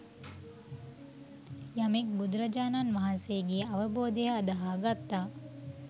යමෙක් බුදුරජාණන් වහන්සේගේ අවබෝධය අදහා ගත්තා